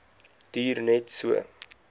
duur net so